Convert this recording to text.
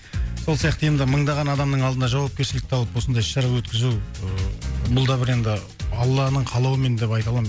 сол сияқты енді мыңдаған адамның алдына жауапкершілікті алып осындай іс шара өткізу ыыы бұл да бір енді алланың қалауымен деп айта аламын